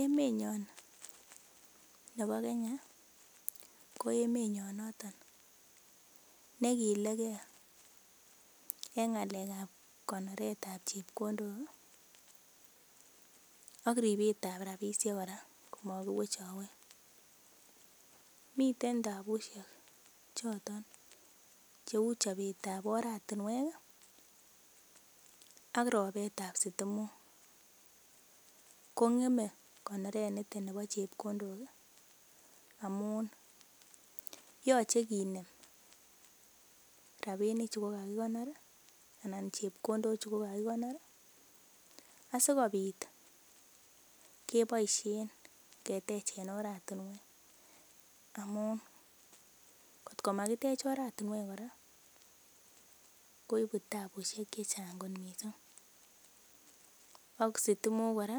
Emenyon nebo Kenya ko emenyon noton ne igileke en ng'alek ab konoret ab chepkondok ak ripet ab rabishek kora komakiwechowech. Miten tabusiek choton cheu chobet ab oratinwek ak ropet ab sitimok. Ko ng'em konoret nito nebo chepkondok amun yoche kinem rabinichu kogakikonor asikobit keboisien ketechen oratinwek amun kotko magitech oratinwek kora koibu tabusiek che chang kot mising ak sitimok kora